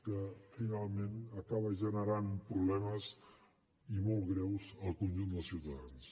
que finalment acaba generant problemes i molt greus al conjunt dels ciutadans